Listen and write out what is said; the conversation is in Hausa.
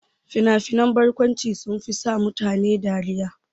Fina-finan barkwanci sunfi sa mutane dariya.